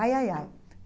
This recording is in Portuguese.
Ai, ai, ai.